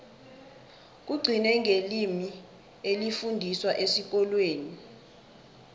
kugcine ngelimi elifundiswa esikolweni